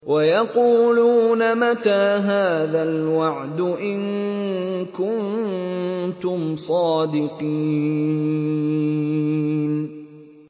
وَيَقُولُونَ مَتَىٰ هَٰذَا الْوَعْدُ إِن كُنتُمْ صَادِقِينَ